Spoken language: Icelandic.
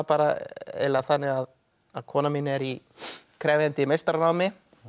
eiginlega þannig að konan mín er í krefjandi meistaranámi